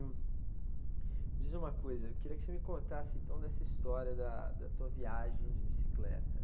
E diz uma coisa, eu queria que você me contasse então dessa história da, da tua viagem de bicicleta.